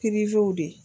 de